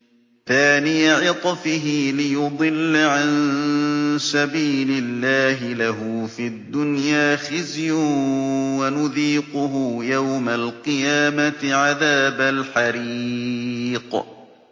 ثَانِيَ عِطْفِهِ لِيُضِلَّ عَن سَبِيلِ اللَّهِ ۖ لَهُ فِي الدُّنْيَا خِزْيٌ ۖ وَنُذِيقُهُ يَوْمَ الْقِيَامَةِ عَذَابَ الْحَرِيقِ